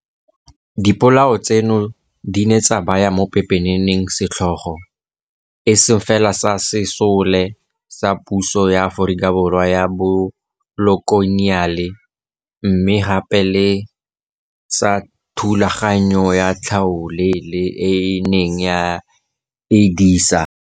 Dipolao tseno di ne tsa baya mo pepeneneng setlhogo, e seng fela sa Sesole sa Puso ya Aforika Borwa ya Bokoloniale, mme gape le sa thulaganyo ya tlhaolele e e neng e e disa.